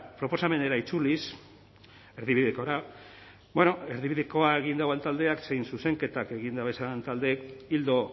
proposamenera itzuliz erdibidekora bueno erdibidekoa egin duen taldeak zein zuzenketak egin dabezan taldeek ildo